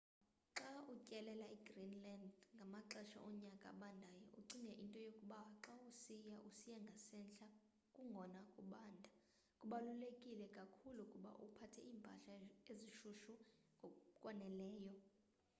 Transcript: xa utyelela igreenland ngamaxesha onyaka abandayo ucinge into yokuba xa usiya usiya ngasentla kungona kubanda kubaluleke kakhulu ukuba uphathe impahla eshushu ngokwaneleyo